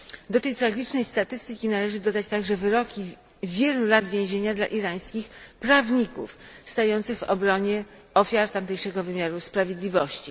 Do tej tragicznej statystyki należy dodać także wyroki wielu lat więzienia dla irańskich prawników stających w obronie ofiar tamtejszego wymiaru sprawiedliwości.